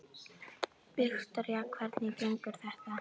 Viktoría: Hvernig gengur þetta?